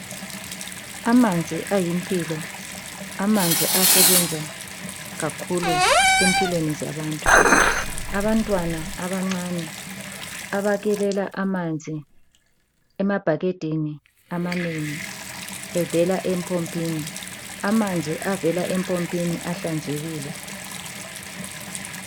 Amanzi ayimpilo. Amanzi asebenza kakhulu empilweni zabantu. Abantwana abancane, abakhelela amanzi emabhakedeni amanengi evela empompini. Amanzi avela empompini ahlanzekile.